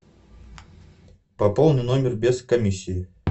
пополни номер без комиссии